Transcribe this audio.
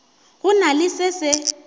go na le se se